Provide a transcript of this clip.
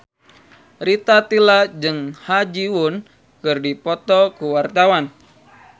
Rita Tila jeung Ha Ji Won keur dipoto ku wartawan